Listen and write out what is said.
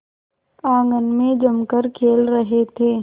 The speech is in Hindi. आंगन में जमकर खेल रहे थे